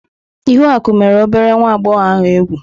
Ihuaku mere obere nwa agbọghọ ahụ egwu.